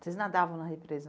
Vocês nadavam na represa?